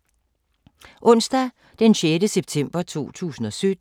Onsdag d. 6. september 2017